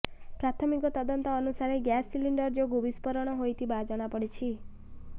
ପ୍ରାଥମିକ ତଦନ୍ତ ଅନୁସାରେ ଗ୍ୟାସ ସିଲିଣ୍ଡର ଯୋଗୁଁ ବିସ୍ଫୋରଣ ହୋଇଥିବା ଜଣାପଡ଼ିଛି